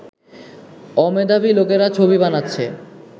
অমেধাবী লোকেরা ছবি বানাচ্ছে